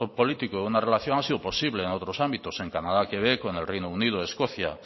político de una relación ha sido posible en otros ámbitos en canadá quebec o en el reino unido escocia